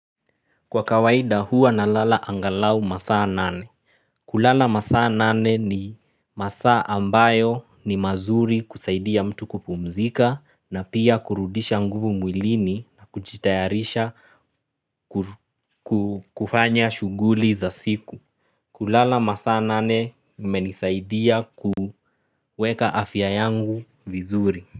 Kwa kawaida huwa na lala angalau masaa nane. Kulala masaa nane ni masaa ambayo ni mazuri kusaidia mtu kupumzika na pia kurudisha nguvu mwilini na kujitayarisha kufanya shuguli za siku. Kulala masaa nane imenisaidia kuweka afya yangu vizuri.